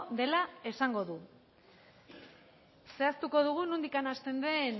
dela esango du zehaztuko dugu nondik hasten den